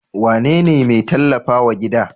Wane ne mai tallafa wa gida?